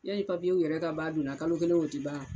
Yani papiyew yɛrɛ ka ban donna, kalo kelen wo ti ban a?